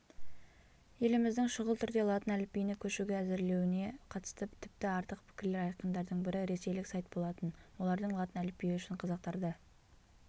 еліміздің шұғыл түрде латын әліпбиіне көшуге әзірлеуіне қатысты тіпті артық пікірлер айтқандардың бірі ресейлік сайт болатын олардың латын әліпбиі үшін қазақтарды